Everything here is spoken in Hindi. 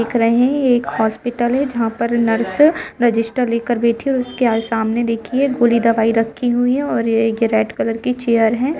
दिख रहे है एक हॉस्पिटल है जहां पर नर्स रजिस्टर लेकर बैठे उसके सामने देखिए गोली दवाई रखी हुई है और एक रेड कलर की चेयर है।